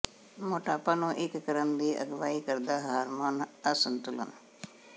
ਮੋਟਾਪਾ ਨੂੰ ਇੱਕ ਕਰਨ ਦੀ ਅਗਵਾਈ ਕਰਦਾ ਹਾਰਮੋਨ ਅਸੰਤੁਲਨ